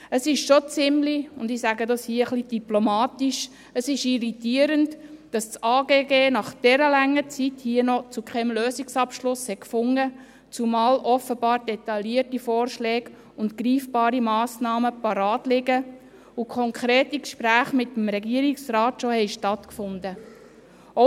Es ist schon ziemlich – ich sage das hier etwas diplomatisch – irritierend, dass das AGG nach dieser langen Zeit hier noch keinen Lösungsabschluss gefunden hat, zumal offenbar detaillierte Vorschläge und greifbare Massnahmen bereitliegen und schon konkrete Gespräche mit dem Regierungsrat stattgefunden haben.